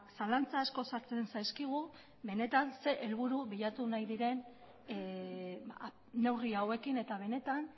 zalantza asko sartzen zaizkigu benetan zer helburu bilatu nahi diren neurri hauekin eta benetan